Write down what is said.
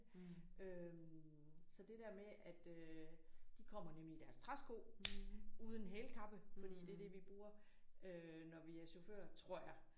Øh så det der med at øh de kommer nemlig i deres træsko uden hælkappe fordi det er det vi bruger øh når vi er chauffører tror jeg